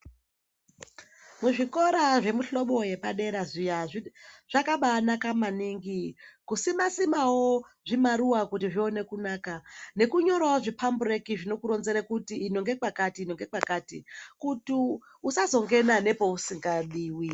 Muzvikora zvemuhlobo yepadera zviya zvakabanaka maningi kusima-simawo zvimaruwa kuti zvione kunaka nekunyorawo zviphambureki zvinokuronzere kuti ino ngekwakati ino ngekwakati kuti usazongena nekwausikadiwi.